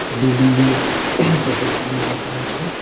Building -এ gate -এর সামনে লেখা আছে।